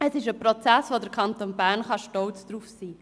Auf diesen Prozess kann der Kanton Bern stolz sein.